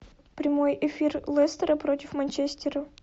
прямой эфир лестера против манчестера